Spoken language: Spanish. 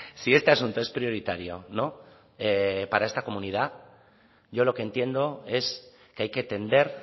si este asunto es prioritario para esta comunidad yo lo que entiendo es que hay que tender